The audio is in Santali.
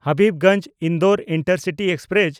Habibganj-Indore intercity express